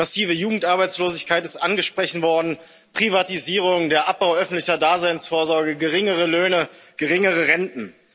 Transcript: Die massive Jugendarbeitslosigkeit ist angesprochen worden, Privatisierung, der Abbau öffentlicher Daseinsvorsorge, geringere Löhne und geringere Renten.